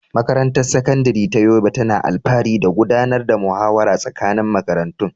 Makarantar Sakandare ta Yobe tana alfahari da gudanar da muhawara tsakanin makarantu.